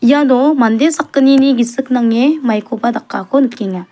iano mande sakgnini gisiko nange maikoba dakako nikenga.